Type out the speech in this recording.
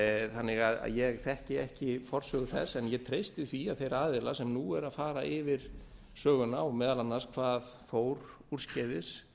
þannig að ég þekki ekki forsögu þess en ég treysti því að þeir aðilar sem nú eru að fara yfir söguna og meðal annars hvað fór úrskeiðis